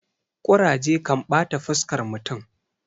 kuraje kan bata fuskar mutum